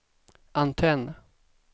antenn